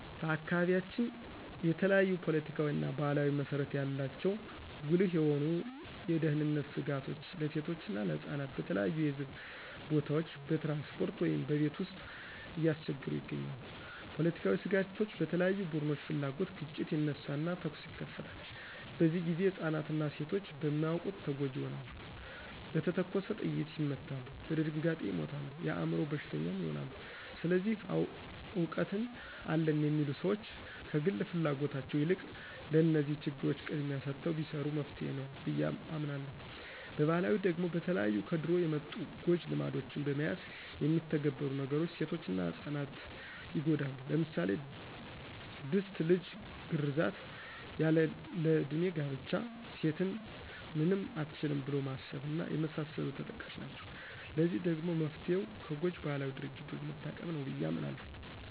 በአካባቢያችን የተለያዪ ፖለቲካዊና ባህላዊ መሰረት ያላቸው ጉልህ የሆኑ የደህንነት ስጋቶች ለሴቶችና ለህጻናት በተለያዩ የህዝብ ቦታዎች፣ በትራንስፖርት ውይም በቤት ውስጥ እያስቸገሩ ይገኛሉ። ፖለቲካዊ ስጋቶች በተለያዩ ቡድኖች ፍላጉት ግጭት ይነሳና ተኩስ ይከፈታል፤ በዚህ ግዜ ህፃናትና ሴቶች በማያዉቁት ተጎጅ ይሆናሉ፣ በተተኮሰ ጥይት ይመታሉ፣ በድንጋጤ ይሞታሉ፣ የአይምሮ በሽተኛም ይሆናሉ። ስለዚህ እውቀት አለን የሚሉ ሰዎች ከግል ፍላጎታቸው የልቅ ለነዚህ ችግሮች ቅድሚያ ሰተው ቢሰሩ መፍትሄ ነዉ ብየ አምናለሁ። በባህላዊ ደግሞ በተለያዩ ከድሮ የመጡ ጎጅ ልማዶችን በመያዝ የሚተገበሩ ነገሮች ሴቶችና ህጻናት ይጎዳሉ ለምሳሌ ድስት ልጅ ግርዛት፣ ያል ለዕድሜ ጋብቻ፣ ሴት ምንም አትችልም ብሎ ማሰብ እና የመሳሰሉት ተጠቃሽ ናቸው። ለዚህ ደግሞ መፍትሄው ከጎጅ ባህላዊ ድርጊቶች መታቀብ ነው ብየ አምናለሁ።